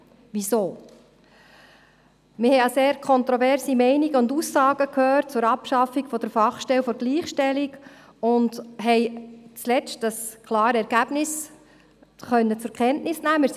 Weshalb? – Wir haben sehr kontroverse Meinungen und Aussagen zur Abschaffung der FGS und haben zuletzt das klare Ergebnis zur Kenntnis nehmen können.